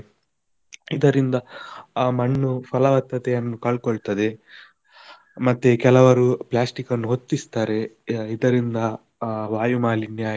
ಇದರಿಂದ ಅ ಮಣ್ಣು ಫಲವತ್ತತೆಯನ್ನು ಕಳ್ಕೊಳ್ತದೆ, ಮತ್ತೆ ಕೆಲವರು plastic ಅನ್ನು ಹೊತ್ತಿಸ್ತಾರೆ ಇದರಿಂದ ಅಹ್ ವಾಯು ಮಾಲಿನ್ಯ.